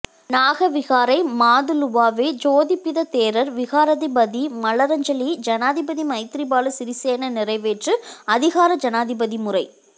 நாக விகாரை மாதுலுவாவே சோபித தேரர் விகாராதிபதி மலரஞ்சலி ஜனாதிபதி மைத்திரிபால சிறிசேன நிறைவேற்று அதிகார ஜனாதிபதி முறை